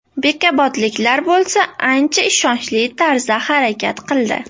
Bekobodliklar bo‘lsa ancha ishonchli tarzda harakat qildi.